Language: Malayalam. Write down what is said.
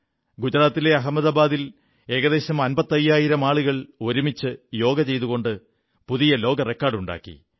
ഗുജറാത്തിലെ അഹമദാബാദിൽ ഏകദേശം അമ്പത്തയ്യായിരം ആളുകൾ ഒരുമിച്ച് യോഗ ചെയ്തുകൊണ്ട് പുതിയ ലോക റെക്കാഡുണ്ടാക്കി